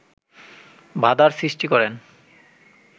বাধার সৃষ্টি করেন